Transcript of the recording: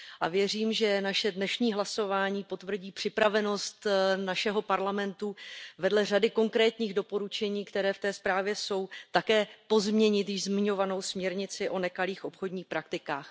A věřím, že naše dnešní hlasování potvrdí připravenost našeho Parlamentu vedle řady konkrétních doporučení, která v té zprávě jsou, také pozměnit již zmiňovanou směrnici o nekalých obchodních praktikách.